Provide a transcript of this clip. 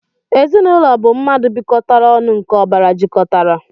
Ezinaūlo bu mmadu bikotara onu nke obara jikotara.